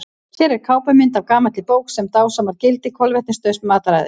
Hér er kápumynd af gamalli bók sem dásamar gildi kolvetnasnauðs mataræðis.